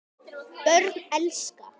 Börn elska.